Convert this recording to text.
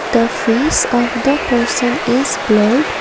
the face of the person is blurred.